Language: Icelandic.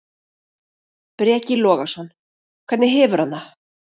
Breki Logason: Hvernig hefur hann það?